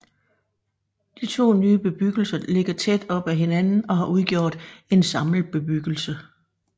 De to nye bebyggelser ligger tæt op ad hinanden og har udgjort en samlet bebyggelse